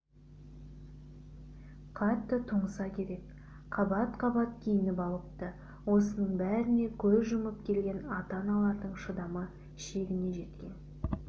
қатты тоңса керек қабат-қабат киініп алыпты осының бәріне көз жұмып келген ата-аналардың шыдамы шегіне жеткен